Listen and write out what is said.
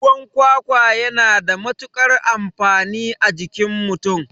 Ruwan kwakwa yana da matukar amfani a cikin mutum